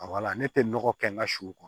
ne tɛ nɔgɔ kɛ n ka siw kɔnɔ